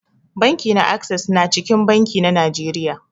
Banki na access na cikin banki na Najeriya.